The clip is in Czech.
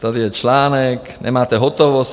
Tady je článek: "Nemáte hotovost?